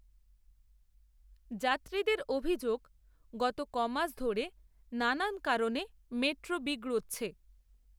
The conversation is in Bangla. যাত্রীদের অভিযোগ, গত কমাস, ধরে নানান কারণে মেট্রো বিগড়োচ্ছে